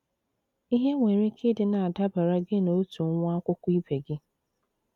Ihe nwere ike ịdị na - adabara gị na otu nwa akwụkwọ ibe gị.